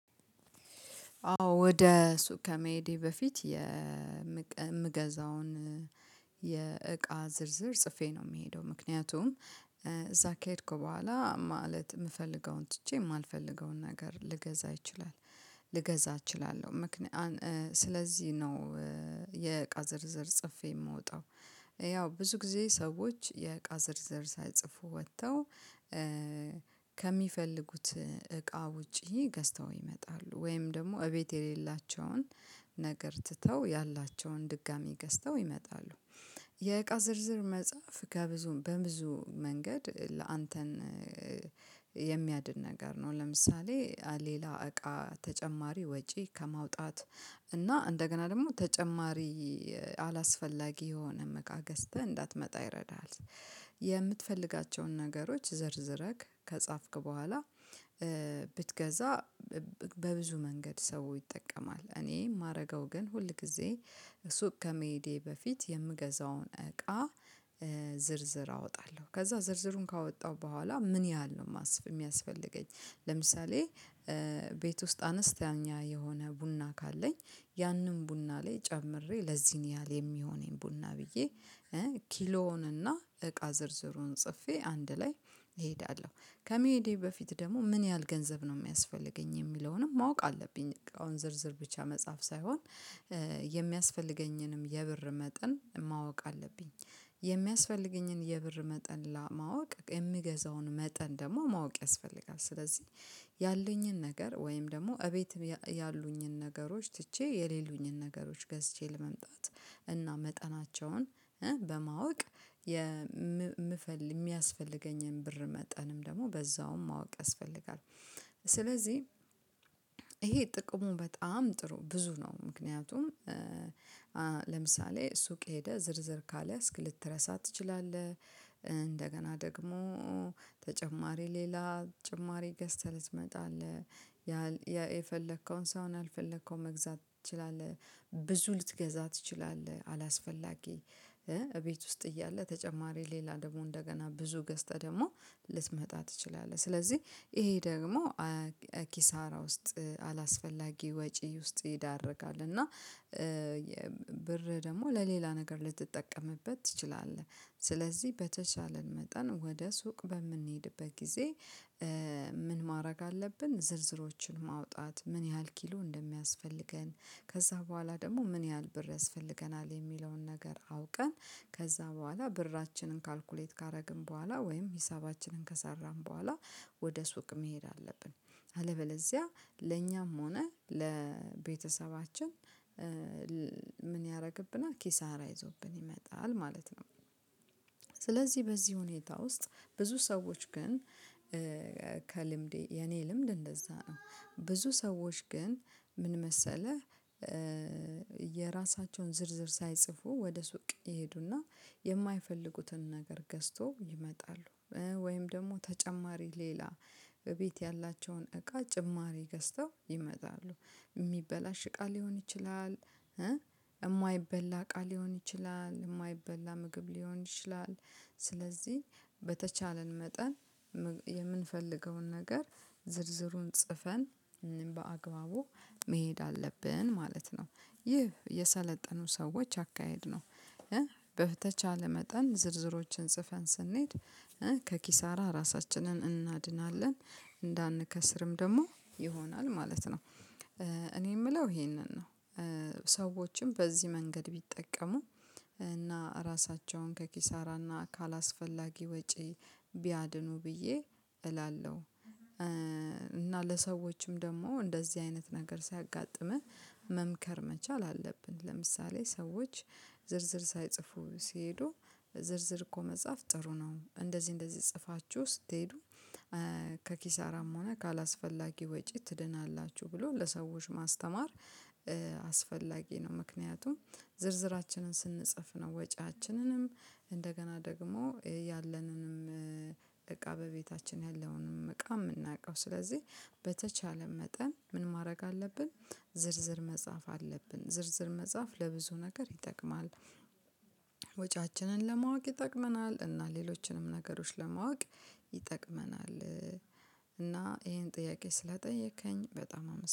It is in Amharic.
አዎ ወደ ሱቅ ከመሄዴ በፊት የምቀ የምገዛውን የእቃ ዝርዝር ጽፌ ነው የሚሄደው ምክንያቱም እዛ ከሄድኩ በኋላ ማለት የምፈልገውን ትቼ የማልፈልገውን ነገር ልገዛ እችላለሁ ልገዛ እችላለሁ ምክንያ አን ስለዚህ ነው። የእቃ ዝር ጽፌ የምወጣው። ያው ብዙ ጊዜ ሰዎች የእቃ ዝርዝር ሳይጽፉ ወጥተው። ከሚፈልጉት እቃ ውጪ ገዝተው ይመጣሉ ወይም ደግሞ እቤት የሌላቸውን ነገር ትተው ያላቸውን ድጋሚ ገዝተው ይመጣሉ ይ። የእቃ ዝርዝር መጻፍ ከብዙ በብዙ መንገድ ላእንተን የሚያድን ነገር ነው። ለምሳሌ ሌላ እቃ ተጨማሪ ወጪ ከማውጣት እና እንደገና ደግሞ ተጨማሪ አላስፈላጊ የሆነም እቃ ገስተህ እንዳትመጣ ይረዳሃል። የምትፈልጋቸውን ነገሮች ዘርዝረክ ከጻፍክ በኋላ ብትገዛ ብ በብዙ መንገድ ሰው ይጠቀማል። እኔ የማረገው ግን ሁል ጊዜ ሱቅ ከመሄዴ በፊት የምገዛውን እቃ ዝርዝር አወጣለሁ። ከዛ ዝርዝሩን ካወጣሁ በኋላ ምን ያህል ነው የሚያስፈልገኝ? ለምሳሌ ቤት ውስጥ አነስተኛ የሆነ ቡና ካለኝ ያንን ቡና ላይ ጨምሬ ለዚህን ያህል የሚሆነኝ ቡና ብዬ ኪሎውንና እቃ ዝርዝሩን ጽፌ አንድ ላይ እሄዳለሁ። ከመሄዴ በፊት ደግሞ ምን ያህል ገንዘብ ነው የሚያስፈልገኝ የሚለውንም ማወቅ አለብኝ። አሁን ዝርዝር ብቻ መጽሐፍ ሳይሆን የሚያስፈልገኝንም የብር መጠን ማወቅ አለብኝ። የሚያስፈልገኝን የብር መጠን ለማወቅ የምገዛውን መጠን ደግሞ ማወቅ ያስፈልጋል። ስለዚህ ያለኝን ነገር ወይም ደግሞ እቤት ያሉኝን ነገሮች ትቼ የሌሉኝን ነገሮች ገዝቼ ለመምጣት እና መጠናቸውን በማወቅ የምፈልግ የሚያስፈልገኝን ብር መጠንም ደግሞ በዛውም ማወቅ ያስፈልጋል። ስለዚህ ይሄ ጥቅሙ በጣም ጥሩ ብዙ ነው። ምክንያቱም አ ለምሳሌ ሱቅ ሄደህ ዝርዝር ካልያዝክ ልትረሳ ትችላለህ። እንደገና ደግሞ ተጨማሪ ሌላ ጭማሪ ገዝተህ ልትመጣ ትችላለህ። ያል የፈለከውን ሳይሆን ያልፈለከውን መግዛት ትችላለህ ብዙ ልትገዛ ትችላለህ አላስፈላጊ። እቤት ውስጥ እያለ ተጨማሪ ሌላ ደግሞ እንደገና ብዙ ገዝተህ ደግሞ ልትመጣ ትችላለህ። ስለዚህ ይሄ ደግሞ ኪሳራ ውስጥ አላስፈላጊ ወጪ ውስጥ ይዳርጋል። እና ብር ደግሞ ለሌላ ነገር ልትጠቀምበት ትችላለህ። ስለዚህ በተቻለን መጠን ወደ ሱቅ በምንሄድበት ጊዜ ምን ማድረግ አለብን? ዝርዝሮችን ማውጣት ምን ያህል ኪሎ እንደሚያስፈልገን ከዛ በኋላ ደግሞ ምን ያህል ብር ያስፈልገናል። የሚለውን ነገር አውቀን ከዛ በኋላ ብራችንን ካልኩሌት ካደረግን በኋላ ወይም ሂሳባችንን ከሰራን በኋላ ወደ ሱቅ መሄድ አለብን። አለበለዚያ ለኛም ሆነ ለቤተሰባችን ል ምን ያደርግብናል ኪሳራ ይዞብን ይመጣል ማለት ነው። ስለዚህ በዚህ ሁኔታ ውስጥ ብዙ ሰዎች ግን ከልምዴ የኔ ልምድ እንደዛ ነው ብዙ ሰዎች ግን ምን መሰለህ? የራሳቸውን ዝርዝር ሳይጽፉ ወደ ሱቅ ይሄዱና የማይፈልጉትን ነገር ገዝተው ይመጣሉ። ወይም ደግሞ ተጨማሪ ሌላ እቤት ያላቸውን እቃ ጭማሪ ገዝተው ይመጣሉ። የሚበላሽ እቃ ሊሆን ይችላል። የማይበላ እቃ ሊሆን ይችላል የማይበላ ምግብ ሊሆን ይችላል። ስለዚህ በተቻለን መጠን የምንፈልገውን ነገር ዝርዝሩን ጽፈን በአግባቡ መሄድ አለብን ማለት ነው። ይህ የሰለጠኑ ሰዎች አካሄድ ነው። በተቻለ መጠን ዝርዝሮችን ጽፈን ስንሄድ ከኪሳራ ራሳችንን እናድናለን። እንዳንከስርም ደግሞ ይሆናል ማለት ነው። እኔ የምለው ይሄንን ነው። ሰዎችም በዚህ መንገድ ቢጠቀሙ እና ራሳቸውን ከኪሳራና ካለአስፈላጊ ወጪ ቢያድኑ ብዬ እላለሁ። እና ለሰዎችም ደግሞ እንደዚህ አይነት ነገር ስያጋጥምህ መምከር መቻል አለብን። ለምሳሌ ሰዎች ዝርዝር ሳይጽፉ ሲሄዱ ዝርዝር እኮ መጻፍ ጥሩ ነው። እንደዚህ እንደዚህ ጽፋችሁ ስትሄዱ ከኪሳራም ሆነ ካላአስፈላጊ ወጪ ትድናላችሁ ብሎ ለሰዎች ማስተማር። አስፈላጊ ነው። ምክንያቱም ዝርዝራችንን ስንጽፍ ነው ወጪያችንንም እንደገና ደግሞ ያለንንም እቃ በቤታችን ያለውንም እቃ የምናውቀው ስለዚህ በተቻለን መጠን ምን ማድረግ አለብን። ዝ ዝርዝር መጻፍ አለብን ዝርዝር መጻፍ ለብዙ ነገር ይጠቅማል። ወጪያችንን ለማወቅ ይጠቅመናል እና ሌሎችንም ነገሮች ለማወቅ ይጠቅመናል። እና ይሄን ጥያቄ ስላጠየከኝ በጣም አመሰ